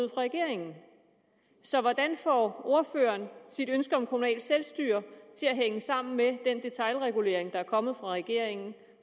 regeringen så hvordan får ordføreren sit ønske om kommunalt selvstyre til at hænge sammen med den detailregulering der er kommet fra regeringen